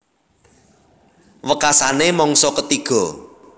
Wekasané mangsa ketiga